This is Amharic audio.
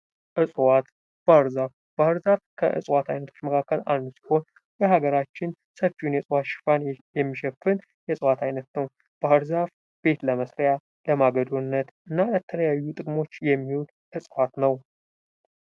ዕጽዋት፦ ባህርዛፍ :-ባህርዛፍ ከዕጽዋት አይነቶች መካከል አንዱ ሲሆን የሀገራችን ሰፊውን የዕጽዋት ሽፋን የሚሸፍን የዕጽዋት አይነት ነው። ባህርዛፍ ቤት ለመስሪያ ፣ለማገዶነት እና ለተለያዩ ጥቅሞች የሚውል ዕጽዋት ነው።